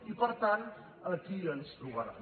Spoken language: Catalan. i per tant aquí ens hi trobaran